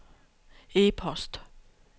e-post